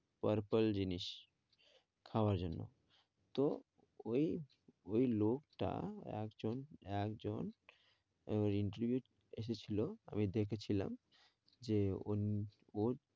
Purple জিনিস খাওয়ার জন্য, তো ওই, ওই লোকটা একজন, একজন ওই interview এসেছিলো ওই দেখেছিলাম যে ঐ ওর